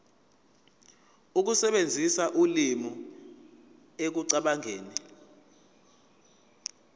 ukusebenzisa ulimi ekucabangeni